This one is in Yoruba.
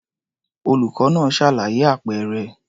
Olùkọ́ náà ṣàlàyé àpẹẹrẹ.